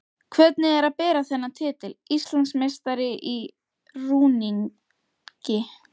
Hvernig er að bera þennan titil: Íslandsmeistari í rúningi?